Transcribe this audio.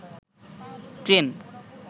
train